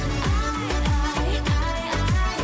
ай ай ай ай